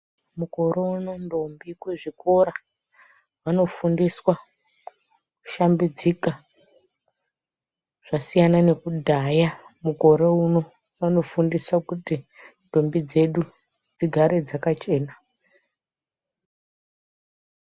Mukorono ndombi kuzvikora vanofundiswa kushambidzika zvasiyana nekudhaya mukorono vanofundiswa kuti nhumbi dzedu dzigare dzakachena.